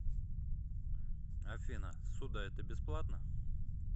афина ссуда это бесплатно